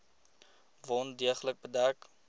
wond deeglik bedek